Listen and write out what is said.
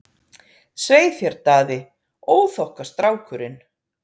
Svei þér Daði, óþokkastrákurinn!